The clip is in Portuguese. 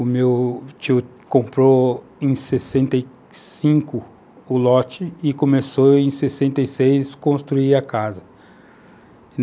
O meu tio comprou em 65 o lote e começou em 66 a construir a casa.